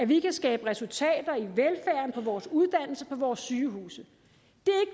vi kan skabe resultater i velfærden på vores uddannelse og på vores sygehuse